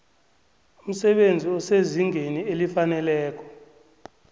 umsebenzi osezingeni elifaneleko